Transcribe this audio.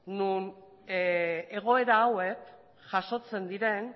non egoera hauek jasotzen diren